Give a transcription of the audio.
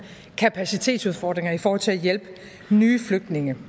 kapacitetsudfordringer i forhold til at hjælpe nye flygtninge